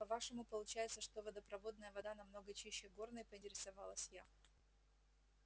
по-вашему получается что водопроводная вода намного чище горной поинтересовалась я